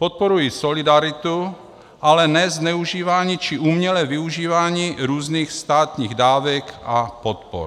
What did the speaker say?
Podporuji solidaritu, ale ne zneužívání či umělé využívání různých státních dávek a podpor.